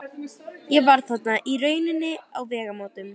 Ég var þarna í rauninni á vegamótum.